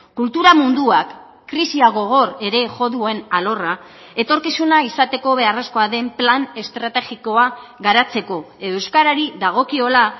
kultura munduak krisia gogor ere jo duen alorra etorkizuna izateko beharrezkoa den plan estrategikoa garatzeko edo euskarari dagokiola